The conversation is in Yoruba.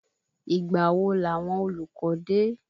Ìgbà wo làwọn olùkọ́ dé?